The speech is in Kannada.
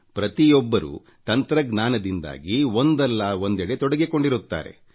ಪ್ರತಿಯೊಬ್ಬರೂ ತಂತ್ರಜ್ಞಾನದಿಂದಾಗಿ ಒಂದ೩ ಒಂದೆಡೆ ತೊಡಗಿರುತ್ತಾರೆ